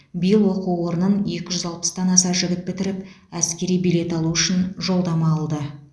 биыл оқу орнын екі жүз алпыстан аса жігіт бітіріп әскери билет алу үшін жолдама алды